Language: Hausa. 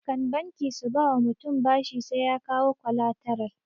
Kan banki su ba wa mutum bashi sai ya kawo kwalataral